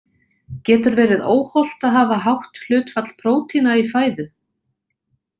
Getur verið óhollt að hafa hátt hlutfall prótína í fæðu?